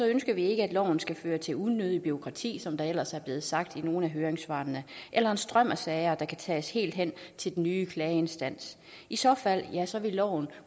ønsker vi ikke at loven skal føre til unødigt bureaukrati som der ellers er blevet sagt i nogle af høringssvarene eller en strøm af sager der kan tages helt hen til den nye klageinstans i så fald vil loven